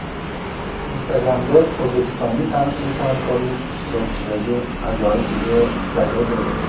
Instagram’da o‘zbekistonlik taniqli san’atkorlik ishtirokidagi ajoyib video paydo bo‘ldi.